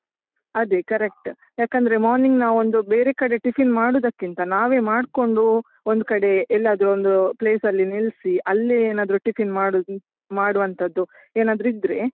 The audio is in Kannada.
ಅದೇ correct , ಯಾಕಂದ್ರೆ morning ನಾವೊಂದು ಬೇರೆ ಕಡೆ tiffin ಮಾಡುದಕ್ಕಿಂತ ನಾವೇ ಮಾಡ್ಕೊಂಡು ಒಂದು ಕಡೆ ಎಲ್ಲಾದರೂ ಒಂದು place ಅಲ್ಲಿ ನಿಲ್ಸಿ, ಅಲ್ಲೇ ಏನಾದ್ರೂ tiffin ಮಾಡುದು, ಮಾಡುವಂತದ್ದು ಏನಾದ್ರೂ ಇದ್ರೆ.